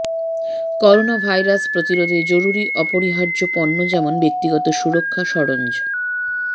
coronavirus প্রতিরোধে জরুরি অপরিহার্য পণ্য যেমন ব্যক্তিগত সুরক্ষা সরঞ্জ